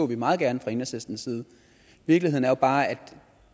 vi meget gerne fra enhedslistens side virkeligheden er bare at